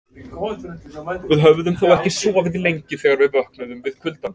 Við höfðum þó ekki sofið lengi þegar við vöknuðum við kuldann.